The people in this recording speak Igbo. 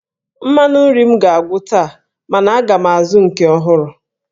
Mmanụ nri m ga-agwụ taa mana aga m azụ nke ọhụrụ.